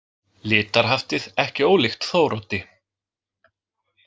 Litarhaftið ekki ólíkt Þóroddi.